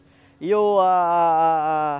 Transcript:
E eu a a a a